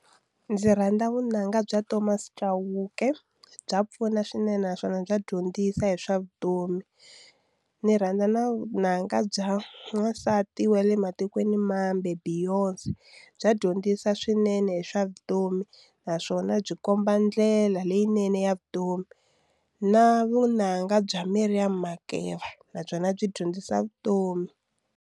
Ndzi rhandza vunanga bya Thomas Chauke bya pfuna swinene naswona bya dyondzisa hi swa vutomi ni rhandza na vunanga bya wansati wa le matikweni mambe Beyonce bya dyondzisa swinene hi swa vutomi naswona byi komba ndlela leyinene ya vutomi na vunanga bya Maiam Makeba nabyona byi dyondzisa vutomi.